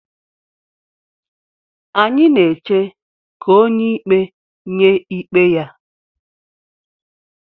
Anyị na-eche ka onye ikpe nye ikpe ya.